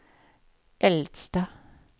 äldsta